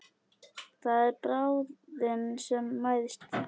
Það er bráðin sem mæðist.